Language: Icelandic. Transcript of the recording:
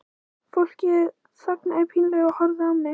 Fólkið þagði pínlega og horfði á mig.